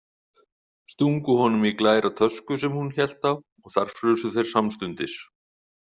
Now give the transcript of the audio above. Stungu honum í glæra tösku sem hún hélt á og þar frusu þeir samstundis.